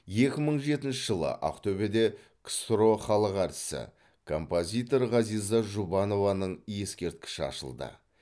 екі мың жетінші жылы ақтөбеде ксро халық әртісі композитор ғазиза жұбанованың ескерткіші ашылды